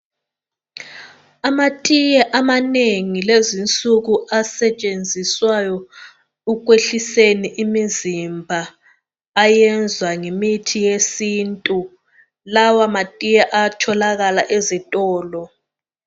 Amatiye amanengi lezinsuku asetshenziswayo ekwehliseni imizimba, ayenzwa ngemithi yesintu. Lawamatiye atholakala ezitolo.